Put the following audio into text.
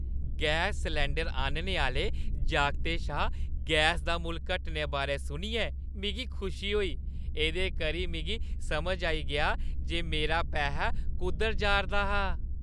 Gas cylinder आह्‌नने आह्‌ले जागतै शा गैसा दा मुल्ल घटने बारै सुनियै मिगी खुशी होई। एह्दे करी मिगी समझ आई गेआ जे मेरा पैहा कुद्धर जाʼरदा हा।